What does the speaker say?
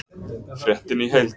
Fréttin í heild